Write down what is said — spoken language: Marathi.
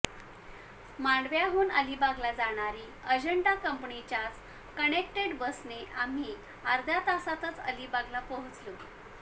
मांडव्याहून अलिबागला जाणारी अजंठा कंपनीच्याच कनेक्टेड बसने आम्ही अध्र्या तासातच अलिबागला पोहोचलो